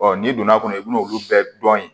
n'i donna a kɔnɔ i bɛn'olu bɛɛ dɔn ye